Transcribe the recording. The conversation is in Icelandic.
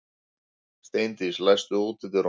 Steindís, læstu útidyrunum.